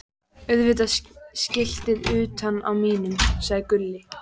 Auðvitað skiltið utan á mínum, sagði Gulli.